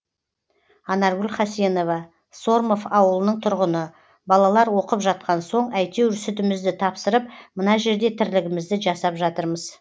анаргүл хасенова сормов ауылының тұрғыны балалар оқып жатқан соң әйтеуір сүтімізді тапсырып мына жерде тірлігімізді жасап жатырмыз